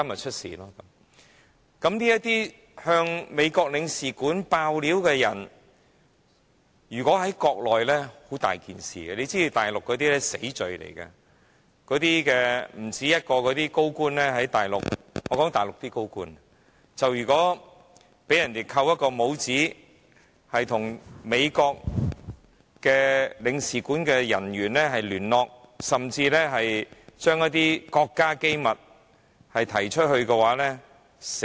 這些向美國領事館告密的人，如果在國內這樣做，會是非常麻煩，這在大陸是死罪；不止1個大陸高官在大陸被人"扣帽子"，被指與美國領事館人員聯絡，甚至說出一些國家機密，可能會被判死刑。